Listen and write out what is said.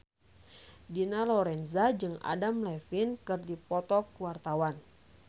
Dina Lorenza jeung Adam Levine keur dipoto ku wartawan